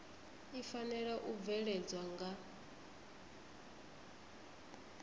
i fanela u bveledzwa nga